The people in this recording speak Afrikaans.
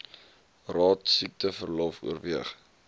raad siekteverlof oorweeg